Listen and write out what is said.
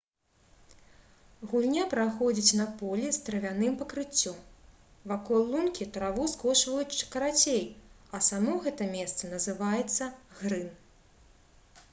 гульня праходзіць на полі з травяным пакрыццём. вакол лункі траву скошваюць карацей а само гэта месца называецца «грын»